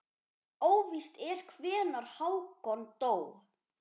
Óvíst er hvenær Hákon dó.